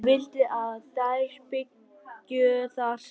Hún vildi að þær byggju þar saman.